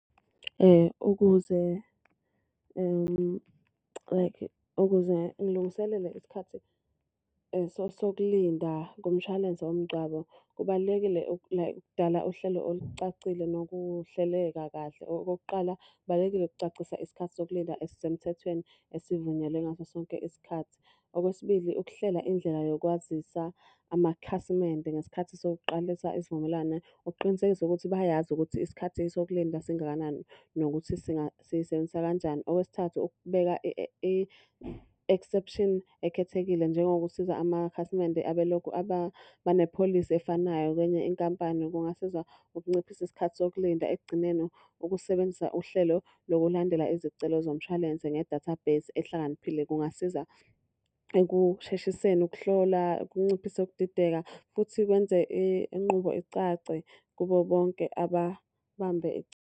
Ukuze like ukuze ngilungiselele isikhathi sokulinda kumshwalense womngcwabo, kubalulekile ukudala uhlelo olucacile nokuhleleka kahle. Okokuqala, kubalulekile ukucacisa isikhathi sokulinda esisemthethweni esivunyelwe ngaso sonke isikhathi. Okwesibili, ukuhlela indlela yokwazisa amakhasimende ngesikhathi sokuqalisa isivumelwane ukuqinisekisa ukuthi bayazi ukuthi isikhathi sokulinda singakanani nokuthi siyisebenzisa kanjani. Okwesithathu, ukubeka i-exception ekhethekile njengokusiza amakhasimende abelokhu banepholisi efanayo kwenye inkampani kungasiza ukunciphisa isikhathi sokulinda. Ekugcineni, ukusebenzisa uhlelo lokulandela izicelo zomshwalense ngedatha base ehlakaniphile kungasiza ekusheshiseni ukuhlola, kunciphise ukudideka futhi kwenze inqubo icace kubo bonke ababambe.